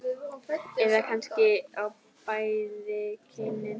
Eða kannski á bæði kynin?